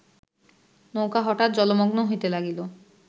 নৌকা হঠাৎ জলমগ্ন হইতে লাগিল